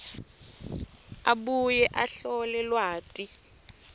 abuye ahlole lwati